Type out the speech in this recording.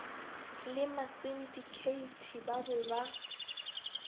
le masindikheithi ba be ba